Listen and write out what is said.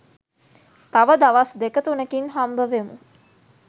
තව දවස් දෙක තුනකින් හම්බවෙමු